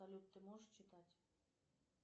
салют ты можешь читать